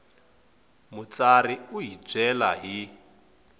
mutsari u hi byela hi